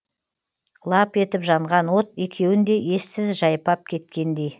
лап етіп жанған от екеуінде ессіз жайпап кеткендей